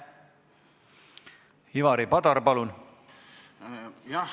Ivari Padar, palun!